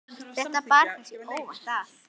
þetta bar kannski óvænt að.